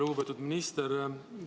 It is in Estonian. Lugupeetud minister!